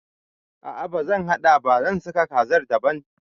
A'a bazan haɗa ba, zan saka kazar daban